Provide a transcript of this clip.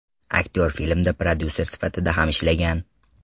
Aktyor filmda prodyuser sifatida ham ishlagan.